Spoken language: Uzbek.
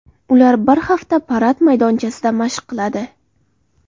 Ular bir hafta parad maydonchasida mashq qiladi.